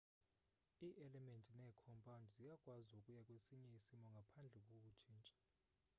ii-elementi neekhompawundi ziyakwazi ukuya kwesinye isimo ngaphandle kokutshintsha